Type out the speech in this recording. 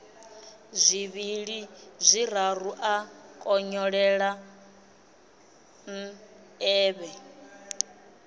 zwivhili zwiraru a konyolela nḓevhe